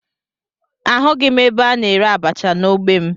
Ahụghị m ebe a na-ere abacha n'ogbe m